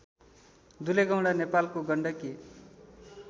दुलेगौंडा नेपालको गण्डकी